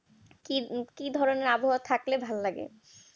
কি ধরনের আবহাওয়া থাকলে ভালো লাগে